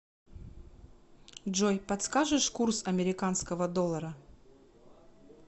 джой подскажешь курс американского доллара